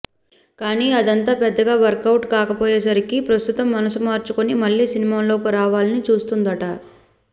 కానీ అదంతా పెద్దగా వర్క్ అవుట్ కాకపోయేసరికి ప్రస్తుతం మనసు మార్చుకొని మళ్ళీ సినిమాల్లోకి రావాలని చూస్తుందట